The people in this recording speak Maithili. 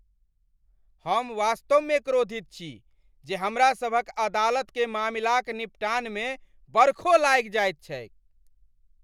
हम वास्तवमे क्रोधित छी जे हमरा सभक अदालतकेँ मामिलाक निपटानमे बरखो लागि जाइत छैक।